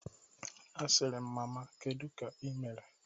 Asịrị m, "Mama kedu ka i mere?"